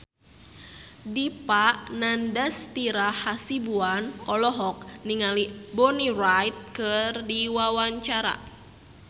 Dipa Nandastyra Hasibuan olohok ningali Bonnie Wright keur diwawancara